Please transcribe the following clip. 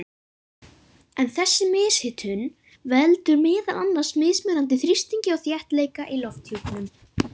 En þessi mishitun veldur meðal annars mismunandi þrýstingi og þéttleika í lofthjúpnum.